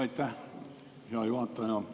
Aitäh, hea juhataja!